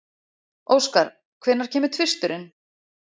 Óskar, hvenær kemur tvisturinn?